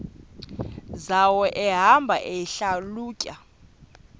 zawo ehamba eyihlalutya